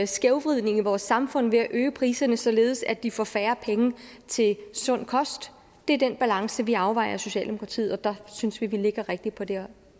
skævvridning i vores samfund ved at øge priserne således at de får færre penge til sund kost det er den balance vi afvejer i socialdemokratiet og der synes vi at vi ligger rigtigt på det her